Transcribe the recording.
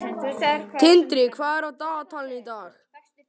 Tindri, hvað er á dagatalinu í dag?